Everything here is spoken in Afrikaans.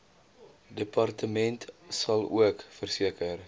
departement salook verseker